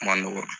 Ma nɔgɔn